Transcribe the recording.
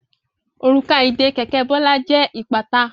Òrùka ìdè kẹ̀kẹ́ Bola jẹ ipata.